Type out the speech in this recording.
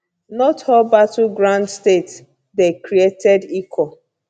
not all battleground states dey created equal